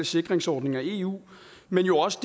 sikringsordninger i eu men jo også